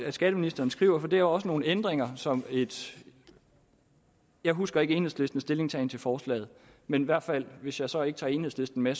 at skatteministeren skriver for det er også nogle ændringer som jeg husker ikke enhedslistens stillingtagen til forslaget men i hvert fald hvis jeg så ikke tager enhedslisten med